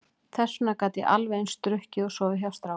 Þess vegna gat ég alveg eins drukkið og sofið hjá strákum.